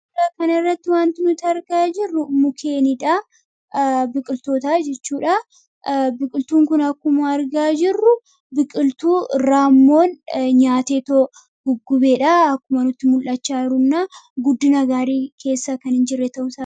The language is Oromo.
Suuraa kana irratti wanti nuti argaa jirru mukeenidha. Biqiltootaa jechuudha biqiltuun kun akkuma argaa jirru biqiltuu raammoon nyaatee too guggubeedha akkumanutti mul'achaa runnaa guddi nagaarii keessaa kan hin jirre ta'a.